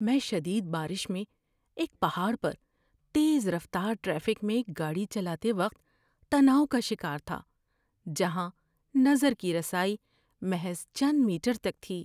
میں شدید بارش میں ایک پہاڑ پر تیز رفتار ٹریفک میں گاڑی چلاتے وقت تناؤ کا شکار تھا جہاں نظر کی رسائی محض چند میٹر تک تھی۔